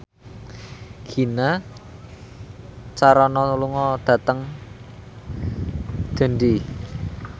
Gina Carano lunga dhateng Dundee